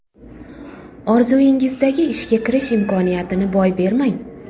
Orzungizdagi ishga kirish imkoniyatini boy bermang.